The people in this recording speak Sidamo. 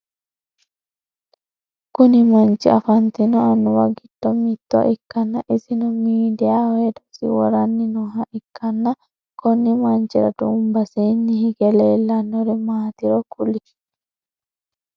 Kunni manchi afantino Annuwa gido mitto ikanna isino miidiyaho hedosi woranni nooha ikanna konni manchira duubasiinni hige leelanori maatiro kuli?